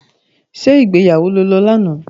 Ṣé ìgbéyàwó lo lọ lánàá?